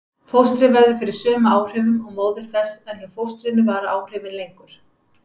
Fóstrið verður fyrir sömu áhrifum og móðir þess en hjá fóstrinu vara áhrifin lengur.